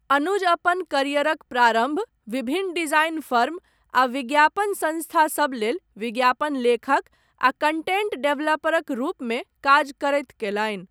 अनुज अपन करियरक प्रारम्भ, विभिन्न डिजाइन फर्म, आ विज्ञापन सङ्स्था सब लेल, विज्ञापन लेखक आ कण्टेण्ट डेवलपरक रूपमे काज करैत कयलनि।